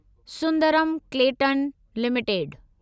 Sundaram Clayton limited